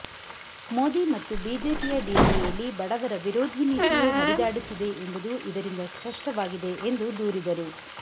ಮೋದಿ ಮತ್ತು ಬಿಜೆಪಿಯ ಡಿಎನ್ಎಯಲ್ಲಿ ಬಡವರ ವಿರೋಧಿ ನೀತಿಯೇ ಹರಿದಾಡುತ್ತಿದೆ ಎಂಬುದು ಇದರಿಂದ ಸ್ಪಷ್ಟವಾಗಿದೆ ಎಂದು ದೂರಿದರು